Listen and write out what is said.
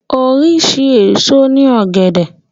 Oríṣi èso ní ògẹ̀dẹ̀